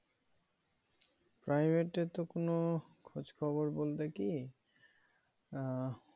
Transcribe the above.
private এ তো কোনো খোঁজ খবর বলতে কি আহ